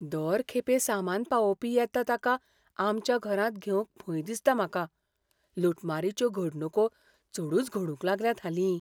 दर खेपे सामान पावोवपी येता ताका आमच्या घरांत घेवंक भंय दिसता म्हाका. लुटमारीच्यो घडणुको चडूच घडूंक लागल्यात हालीं.